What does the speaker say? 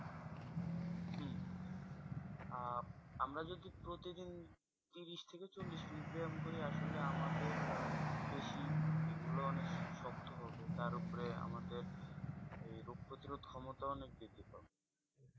আহ আমরা যদি প্রতিদিন ত্রিশ থেকে চল্লিশ minute ব্যায়াম করি আসলে আমাদের পেশি এগুলো অনেক শক্ত হবে। তার ওপরে আমাদের ওই রোগ প্রতিরোধ ক্ষমতাও অনেক বৃদ্ধি পাবে।